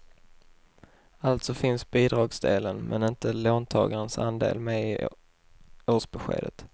Alltså finns bidragsdelen, men inte låntagarens andel med i årsbeskedet.